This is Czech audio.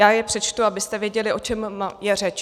Já je přečtu, abyste věděli, o čem je řeč.